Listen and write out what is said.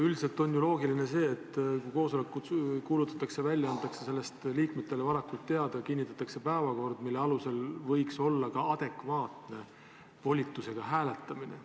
Üldiselt on ju loogiline, et kui koosolek kuulutatakse välja, siis antakse sellest liikmetele varakult teada ja kinnitatakse päevakord, mille alusel võiks olla ka adekvaatne volitusega hääletamine.